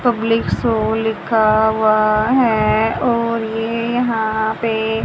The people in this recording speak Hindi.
पब्लिक शो लिखा हुआ है और ये यहां पे--